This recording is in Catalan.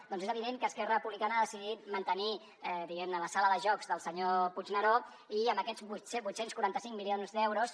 doncs és evident que esquerra republicana ha decidit mantenir diguem ne la sala de jocs del senyor puigneró i amb aquests vuit cents i quaranta cinc milions d’euros